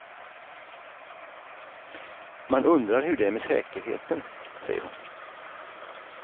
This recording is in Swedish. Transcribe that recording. Man undrar hur det är med säkerheten, säger hon.